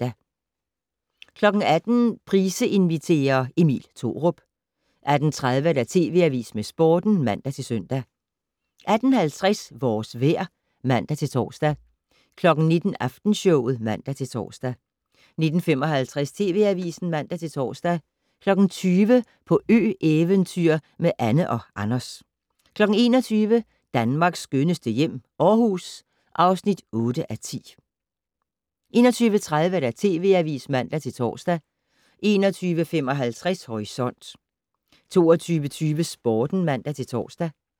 18:00: Price inviterer - Emil Thorup 18:30: TV Avisen med Sporten (man-søn) 18:50: Vores vejr (man-tor) 19:00: Aftenshowet (man-tor) 19:55: TV Avisen (man-tor) 20:00: På ø-eventyr med Anne & Anders 21:00: Danmarks skønneste hjem - Aarhus (8:10) 21:30: TV Avisen (man-tor) 21:55: Horisont 22:20: Sporten (man-tor)